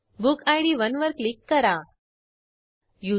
books table update करण्यासाठी query कार्यान्वित करू